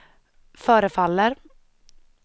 förefaller